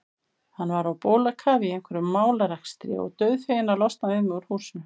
Hann var á bólakafi í einhverjum málarekstri og dauðfeginn að losna við mig úr húsinu.